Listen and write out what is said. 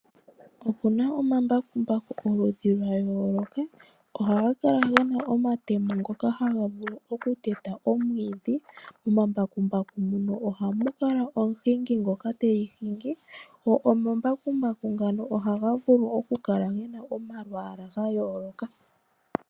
Opuna omambakumbaku oludhi lwa yooloka, ohaga kala gena omatemo ngoka haga vulu oku teta omwiidhi. Omambakumbaku muno ohamu kala omuhingi ngoka teli hingi. Go omambakumbaku ngano ohaga vulu oku kala gena omalwaala ga yooloka.